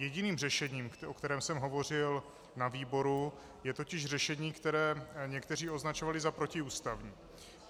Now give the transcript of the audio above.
Jediným řešením, o kterém jsem hovořil na výboru, je totiž řešení, které někteří označovali za protiústavní.